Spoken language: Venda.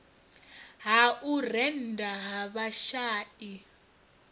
ha u rennda ha vhashai